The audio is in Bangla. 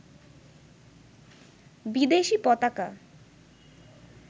বিদেশী পতাকা